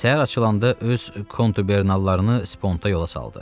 Səhər açılanda öz kontubernallarını sponta yola saldı.